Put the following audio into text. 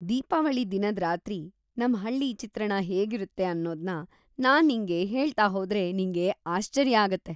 ದೀಪಾವಳಿ ದಿನದ್ ರಾತ್ರಿ ನಮ್ ಹಳ್ಳಿ ಚಿತ್ರಣ ಹೇಗಿರುತ್ತೆ ಅನ್ನೋದ್ನ ನಾನ್ ನಿಂಗೆ ಹೇಳ್ತಾ ಹೋದ್ರೆ ನಿಂಗೆ ಆಶ್ಚರ್ಯ ಆಗತ್ತೆ.